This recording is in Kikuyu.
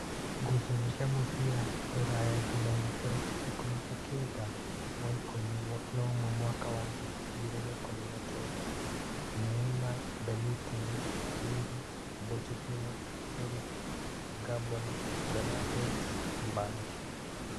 Ngucanio cia mũbira Rūraya Jumaine tarĩki ikũmi na-kenda wa ikũmi na ũmwe mwaka wa ngiri igĩrĩ na ikũmi na kenda: Neema, Mbeniteni, Wili, Bochetino, Erĩki, Ngamboni, Benades, Mbanji